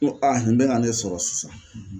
N ko aa nin be ka ne sɔrɔ sisan.